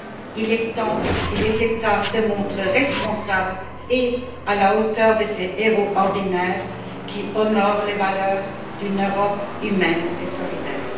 Il est temps que les États se montrent responsables et à la hauteur de ces héros ordinaires qui honorent les valeurs d'une Europe humaine et solidaire.